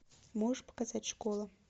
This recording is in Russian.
можешь показать школа